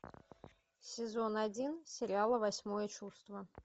сезон один сериала восьмое чувство